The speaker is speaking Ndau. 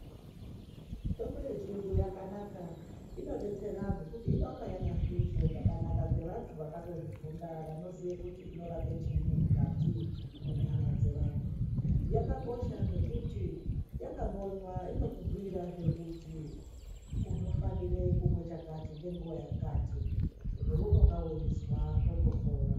Mitombo ye chiyungu yakanaka ino detsera nekuti inonga yaka hluzwa zvakanaka ne vantu vakato zvifunda vano ziya kuti inorapa chinyi mukati mwe nyama dze vantu yaka kosha ngekuti yaka mbonywa inoku bhuyira zve kuti uno fanire kumwe chakati nge nguva yakati zvo unonga weizwa zvoto pora.